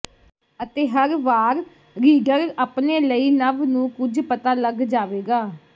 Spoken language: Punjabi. ਅਤੇ ਹਰ ਵਾਰ ਰੀਡਰ ਆਪਣੇ ਲਈ ਨਵ ਨੂੰ ਕੁਝ ਪਤਾ ਲਗ ਜਾਵੇਗਾ